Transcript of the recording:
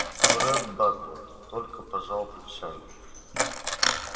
но ретт батлер только пожал плечами